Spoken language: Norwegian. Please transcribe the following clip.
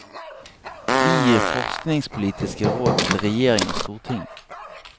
Vi gir forskningspolitiske råd til regjering og storting.